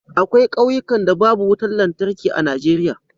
akwai kauyukan da babu wutar lantarki a Najeriya